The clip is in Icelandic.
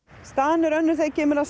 staðan er önnur þegar kemur að